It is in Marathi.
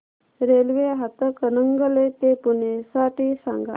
रेल्वे हातकणंगले ते पुणे साठी सांगा